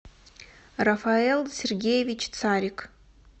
рафаэл сергеевич царик